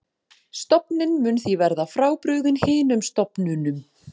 Stofninn mun því verða frábrugðinn hinum stofnunum.